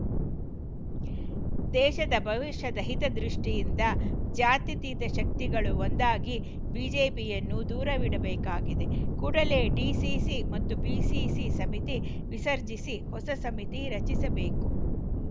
ದೇಶದ ಭವಿಷ್ಯದ ಹಿತದೃಷ್ಟಿಯಿಂದ ಜಾತ್ಯತೀತ ಶಕ್ತಿಗಳು ಒಂದಾಗಿ ಬಿಜೆಪಿಯನ್ನು ದೂರವಿಡಬೇಕಾಗಿದೆ ಕೂಡಲೇ ಡಿಸಿಸಿ ಮತ್ತು ಬಿಸಿಸಿ ಸಮಿತಿ ವಿಸರ್ಜಿಸಿ ಹೊಸ ಸಮಿತಿ ರಚಿಸಬೇಕು